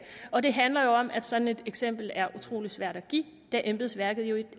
og det handler jo om at sådan et eksempel er utrolig svært at give da embedsværket jo